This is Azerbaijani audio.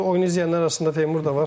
Oyunu izləyənlər arasında Teymur da var.